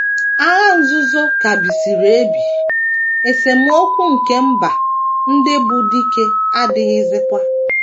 Agha Nzuzo ka bisiri ebi, esemokwu nke mba ndị bụ́ dike adịghịzikwa.